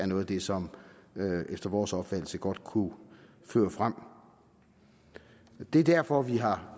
noget af det som efter vores opfattelse godt kunne føre fremad det er derfor vi har